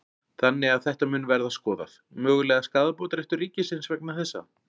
Þannig að þetta mun verða skoðað, mögulegur skaðabótaréttur ríkisins vegna þessa?